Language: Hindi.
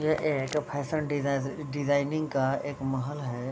यह एक फैशन डिजाइ-डिजाइनिंग का एक महल है।